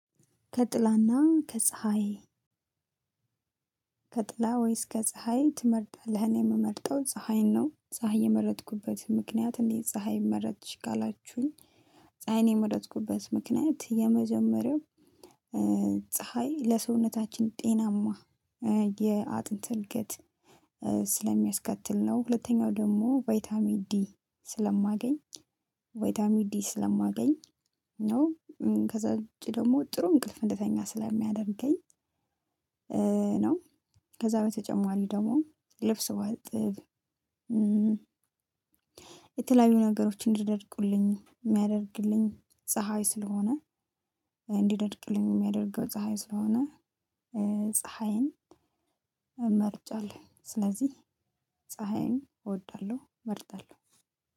ከጥላና ከፀሀይ ከጥላ ወይስ ከፀሀይ ትመርጣለህ? እኔ የምመርጠው ፀሀይን ነው። ፀሀይ የመረጥኩበት ምክንያት እንዴት ፀሀይ መረጥሽ ካላችሁኝ? ፀሀይን የመረጥኩበት ምክንያት የመጀመሪያው ፀሀይ ለሰውነታችን ጤናማ የአጥንት እድገት ስለሚያስከትል ነው። ሁለተኛው ደግሞ ቫይታሚ ዲ ስለማገኝ ቫይታሚንዲ ስለማገኝ ነው። ከዛ ደግሞ ጥሩ እንቅልፍ እንድተኛ ስለሚያደርገኝ ነው። ከዛ በተጨማሪ ደግሞ ልብስ ባጥብ። የተለያዩ ነገሮችን እንዲደርቁልኝ የሚያደርግልኝ ፀሀይ ስለሆነ እንዲደድቅልኝ የሚያደርገው ፀሀይ ስለሆነ ፀሀይን መርጫለሁኝ። ስለዚህ ፀሀይን እወዳለሁ እመርጣለሁ።